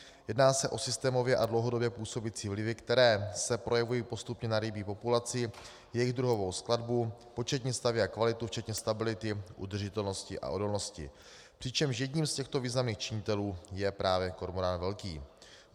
Jedná se o systémově a dlouhodobě působící vlivy, které se projevují postupně na rybí populaci, jejich druhové skladbě, početním stavu a kvalitě včetně stability, udržitelnosti a odolnosti, přičemž jedním z těchto významných činitelů je právě kormorán velký.